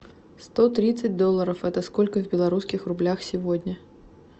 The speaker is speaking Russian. сто тридцать долларов это сколько в белорусских рублях сегодня